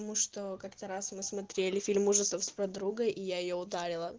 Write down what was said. потому что как-то раз мы смотрели фильм ужасов с подругой и я её ударила